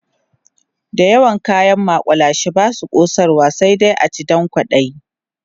da yawan kayan makullashe Basu kosarwa sai dai a ci Dan kwaɗayi